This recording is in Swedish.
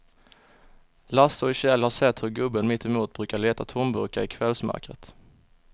Lasse och Kjell har sett hur gubben mittemot brukar leta tomburkar i kvällsmörkret.